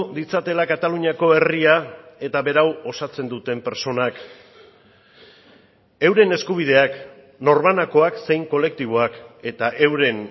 ditzatela kataluniako herria eta berau osatzen duten pertsonak euren eskubideak norbanakoak zein kolektiboak eta euren